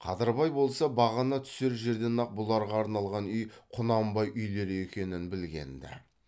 қадырбай болса бағана түсер жерден ақ бұларға арналған үй құнанбай үйлері екенін білген ді